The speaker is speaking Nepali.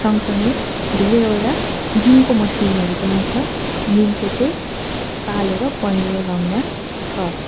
सँगसँगै धेरैवरा जिम को मसिन हरू पनि छ जुनचै चै कालो र पहेंलो रंगमा छ।